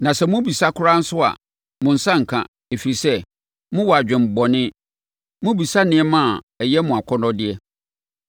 Na sɛ mobisa koraa nso a, mo nsa renka, ɛfiri sɛ, mowɔ adwemmɔne. Mobisa nneɛma a ɛyɛ mo akɔnnɔdeɛ.